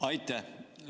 Aitäh!